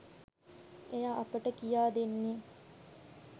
එය අපට කියා දෙන්නේ